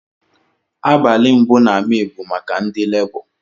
Abasli mbu na may bu maka ndi lebọ.